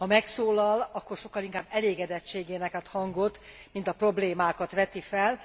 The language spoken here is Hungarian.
Ha megszólal, akkor sokkal inkább elégedettségének ad hangot, mint a problémákat veti fel.